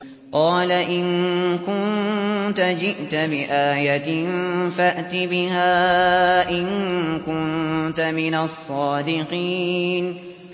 قَالَ إِن كُنتَ جِئْتَ بِآيَةٍ فَأْتِ بِهَا إِن كُنتَ مِنَ الصَّادِقِينَ